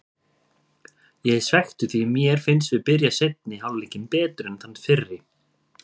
Ég er svekktur því mér fannst við byrja seinni hálfleikinn betur en þann fyrri.